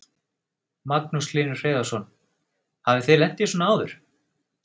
Magnús Hlynur Hreiðarsson: Hafið þið lent í svona áður?